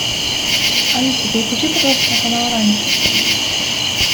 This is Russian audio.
алиса переключи пожалуйста на канал раньше